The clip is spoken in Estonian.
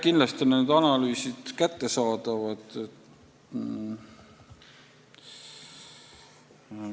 Kindlasti on need analüüsid kättesaadavad.